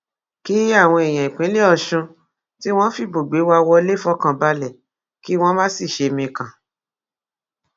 kí àwọn èèyàn ìpínlẹ ọṣun tí wọn fìbò gbé wá wọlé fọkàn balẹ kí wọn má sì ṣe mikàn